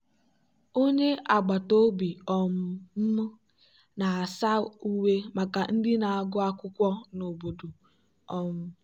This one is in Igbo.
onye agbata obi um m na-asa uwe maka ndị na-agụ akwụkwọ n'obodo. um